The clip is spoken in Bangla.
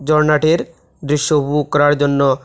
ঝরনাটির দৃশ্য উপভোগ করার জন্য--